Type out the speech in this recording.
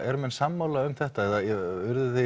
eru menn sammála um þetta eða